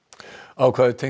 ákvæði tengt